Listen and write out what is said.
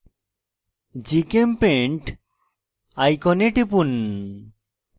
gchempaint icon টিপুন